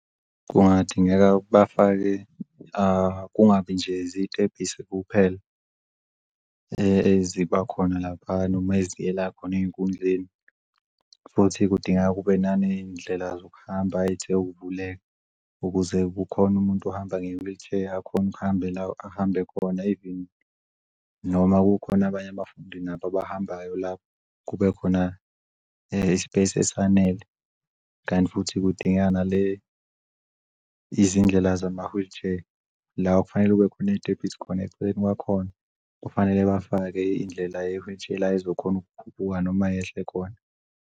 Kungadingeka bafake kungabi nje zitebhisi kuphela eziba khona laphana noma ezivela khona ey'nkundleni. Futhi kudingeka kube nane y'ndlela zokuhamba eyithe ukuvuleka ukuze kukhon'muntu ohamba nge-wheelchair akhone ahambe lapho ahambe khona even noma kukhona abanye abafundi nabo abahambayo lapho kubekhona i-space esifanele. Kanti futhi kudingakala izindlela zama-wheelchair, la kufanele kube khona iy'tebhisi eceleni kwakhona kufanele bafake indlela ye-wheelchair la ezokhona ukukhuphuka noma yehle khona.